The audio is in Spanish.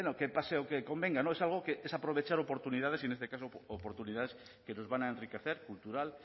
que pase o que convenga es algo que es aprovechar oportunidades y en este caso oportunidades que nos van a enriquecer cultural